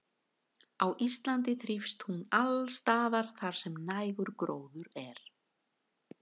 Á Íslandi þrífst hún alls staðar þar sem nægur gróður er.